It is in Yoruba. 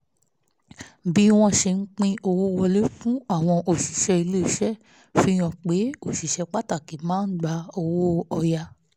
bí wọ́n ṣe ń pín owó wọlé fún àwọn òṣìṣẹ́ ilé iṣẹ́ fi hàn pé òṣìṣẹ́ pàtàkì máa ń gba owó ọ̀yà